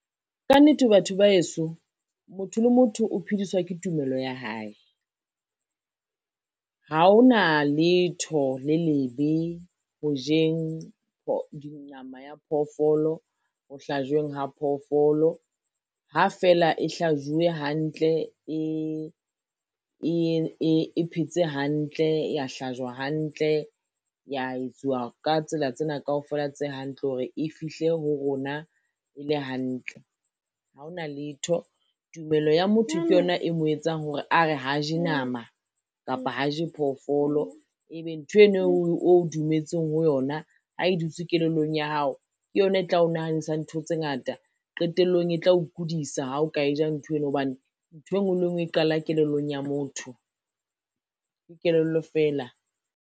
Ka nnete batho ba heso motho le motho o phediswa ke tumelo ya hae. Ha hona letho le lebe ho jeng nama ya phoofolo, ho hlajweng ho phoofolo ha fela e hlajuwe hantle, e phetse hantle, ya hlajwa hantle, ya etsuwa ka tsela tsena kaofela tse hantle hore e fihle ho rona e le hantle ha hona letho. Tumelo ya motho ke yona e mo etsang hore a re ha je nama kapa ha je phoofolo, ebe ntho eno o dumetseng ho yona ha e dutse kelellong ya hao, ke yona e tla o nahanisa ntho tse ngata, qetellong e tlao kudisa ha o ka e ja ntho eno, hobane ntho e ngwe le ngwe e qala kelellong ya motho. Ke kelello fela.